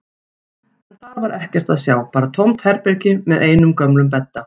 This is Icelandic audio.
En þar var ekkert að sjá, bara tómt herbergi með einum gömlum bedda.